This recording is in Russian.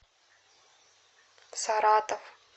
саратов